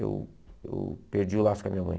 Eu eu perdi o laço com a minha mãe.